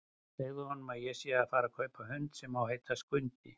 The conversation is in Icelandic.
Segðu honum að ég sé að fara að kaupa hund sem á að heita Skundi!